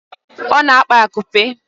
Ọ na-akpa akupe